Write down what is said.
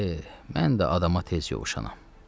Mən də adama tez yovuşanam.